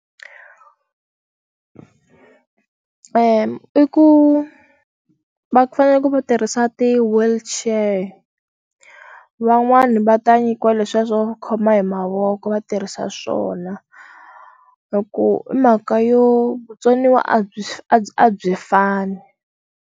i ku va fanele va tirhisa ti-wheelchair van'wani va ta nyikiwa leswiya swo khoma hi mavoko va tirhisa swona loko hi mhaka yo vutsoniwa a byi a byi a byi fani.